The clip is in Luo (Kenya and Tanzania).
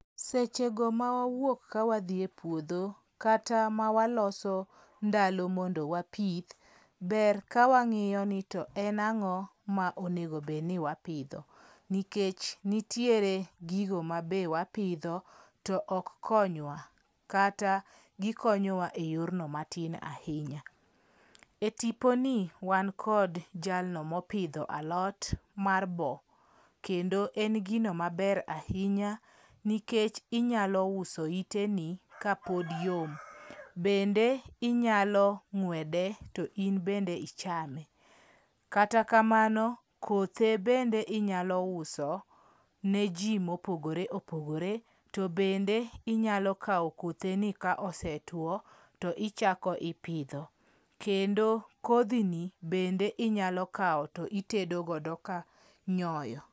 Seche go ma wawuok ka wadhi e puodho kata waloso ndalo mondo wapith, ber ka wang'iyo ni to en ang'o monego bed ni wapidho nikech ntiere gigo mabe wapidho to ok konywa kata gikonyowa e yorno matin ahinya. E tiponi wan kod jalno mopidho alot mar boo kendo en gino maber ahinya nikech inyalo uso ite ni kapod yom. Bende inyalo ng'wede to in bende ichame. Kata kamano, kothe bende inyalo uso ne jii mopogore opogore. To bende inyalo kawo kotheni ka osetwo to ichako ipidho kendo kodhi ni bende inyalo kawo titedo godo ka nyoyo.